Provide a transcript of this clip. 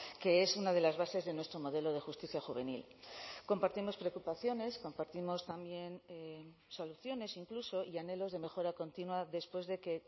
que es una de las bases de nuestro modelo de justicia juvenil compartimos preocupaciones compartimos también soluciones incluso y anhelos de mejora continua después de que